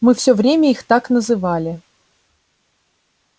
мы всё время их так называли